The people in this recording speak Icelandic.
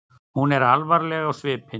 Hún var alvarleg á svipinn.